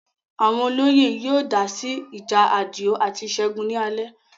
Àwọn olóyè yóò dá sí ìjà Àdìó àti Ṣẹ́gun ni alẹ́